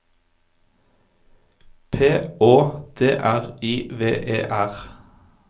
P Å D R I V E R